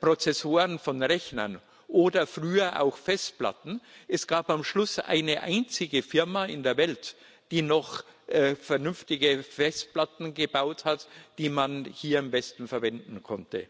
Prozessoren von Rechnern, oder früher auch Festplatten. Es gab am Schluss eine einzige Firma in der Welt, die noch vernünftige Festplatten gebaut hat, die man hier am besten verwenden konnte.